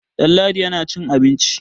Ɗanladi yana cin abinci.